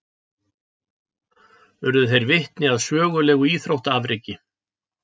Urðu þeir vitni að sögulegu íþróttaafreki